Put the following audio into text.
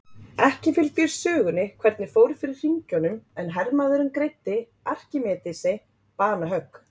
ekki fylgir sögunni hvernig fór fyrir hringjunum en hermaðurinn greiddi arkímedesi banahögg